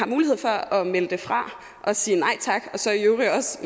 mulighed for at melde det fra og sige nej tak og så i øvrigt